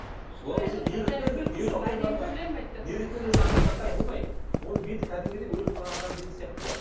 оның беті кәдімгідей өліп қалған адамның беті сияқты болады